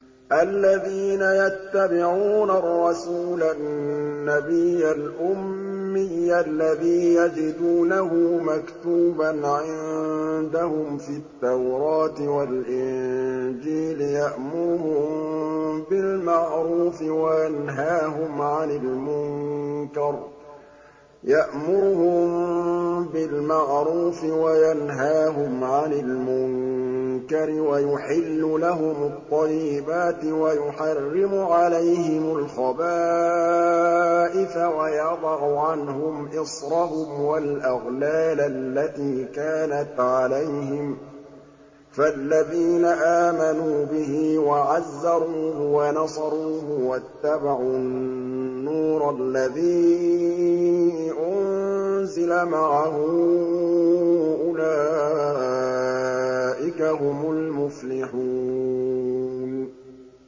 الَّذِينَ يَتَّبِعُونَ الرَّسُولَ النَّبِيَّ الْأُمِّيَّ الَّذِي يَجِدُونَهُ مَكْتُوبًا عِندَهُمْ فِي التَّوْرَاةِ وَالْإِنجِيلِ يَأْمُرُهُم بِالْمَعْرُوفِ وَيَنْهَاهُمْ عَنِ الْمُنكَرِ وَيُحِلُّ لَهُمُ الطَّيِّبَاتِ وَيُحَرِّمُ عَلَيْهِمُ الْخَبَائِثَ وَيَضَعُ عَنْهُمْ إِصْرَهُمْ وَالْأَغْلَالَ الَّتِي كَانَتْ عَلَيْهِمْ ۚ فَالَّذِينَ آمَنُوا بِهِ وَعَزَّرُوهُ وَنَصَرُوهُ وَاتَّبَعُوا النُّورَ الَّذِي أُنزِلَ مَعَهُ ۙ أُولَٰئِكَ هُمُ الْمُفْلِحُونَ